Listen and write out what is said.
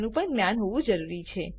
નું પણ જ્ઞાન હોવું જરૂરી છે